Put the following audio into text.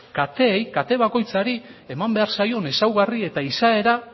kateei kate bakoitzari eman behar zaion ezaugarri eta izaera